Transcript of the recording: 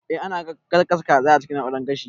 Eh ana gasa kaza a cikin na'urar gashi